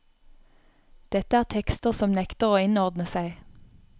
Dette er tekster som nekter å innordne seg.